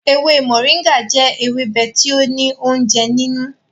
Ewe moringa jẹ ewebe ti o ni ounjẹ ninu.